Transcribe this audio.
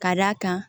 Ka d'a kan